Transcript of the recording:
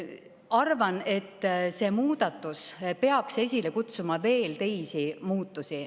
Arvan, et see muudatus peaks esile kutsuma veel teisigi muutusi.